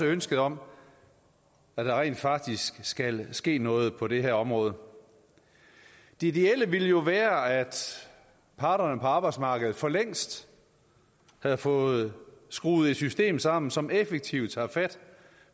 ønsket om at der rent faktisk skal ske noget på det her område det ideelle ville jo være at parterne på arbejdsmarkedet for længst havde fået skruet et system sammen som effektivt tager fat